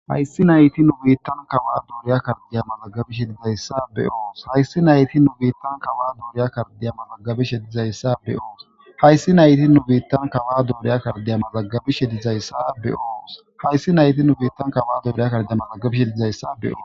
hayssi nayti nu biittan kawa duuriya kardiya malagabishe dizayssa be'os hayssi nayti nu biittan kawa duuriya kardeya malagabi shedizayssa beyoos hayssi nayti nu biittan kawa duuriya kardeya malagabishe dizayssa beyos hayssi nayti nu biittan kawa duuriya kardeya malagabishe dizayssa beos